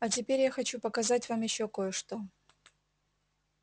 а теперь я хочу показать вам ещё кое-что